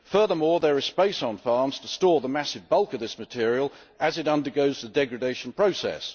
Furthermore there is space on farms to store the massive bulk of this material as it undergoes the degradation process.